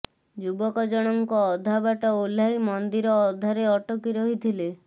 ଯୁବକ ଜଣଙ୍କ ଅଧାବାଟ ଓହ୍ଲାଇ ମନ୍ଦିର ଅଧାରେ ଅଟକି ରହିଥିଲେ